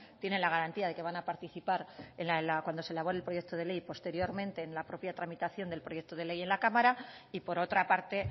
tienen la garantía de que van a participar cuando se elabore el proyecto de ley posteriormente en la propia tramitación del proyecto de ley en la cámara y por otra parte